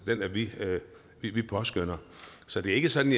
vi påskønner så det er ikke sådan